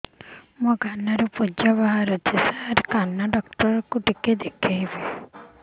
ମୋ କାନରୁ ପୁଜ ବାହାରୁଛି ସାର କାନ ଡକ୍ଟର କୁ ଦେଖାଇବି